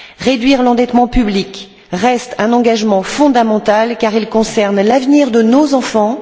Réduire l'endettement public reste un engagement fondamental car il concerne l'avenir de nos enfants.